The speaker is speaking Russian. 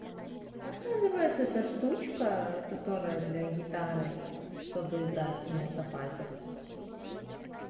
как называется эта штучка которая для гитары чтобы играть вместо пальцев